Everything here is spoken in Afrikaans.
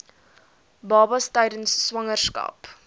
babas tydens swangerskap